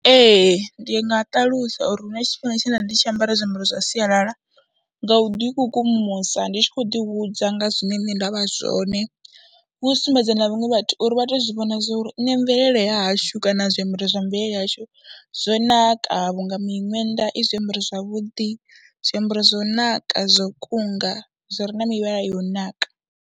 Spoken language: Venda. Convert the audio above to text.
Ee ndi nga ṱalusa uri hu na tshifhinga tshe nda vha ndi tshi ambara zwiambaro zwa sialala nga u ḓikukumusa ndi tshi khou ḓihudza nga zwine nṋe nda vha zwone, hu u sumbedza na vhaṅwe vhathu uri vha tou zwi vhona zwo ri nṋe mvelele ya hashu kana zwiambaro zwa mvelele yashu zwo naka vhunga minwenda i zwiambaro zwavhuḓi, zwiambaro zwo naka zwo kunga, zwi re na mivhala yo naka.